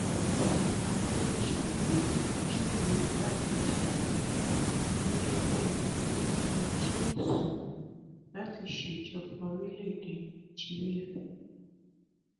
ọba adéjúgbẹ júwe igbákejì ààrẹ gẹgẹ bíi ẹni tó kún ojú òṣùwọn láti ṣèjọba orílẹèdè nàíjíríà